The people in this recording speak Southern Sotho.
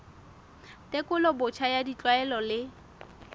tekolo botjha ya ditlwaelo le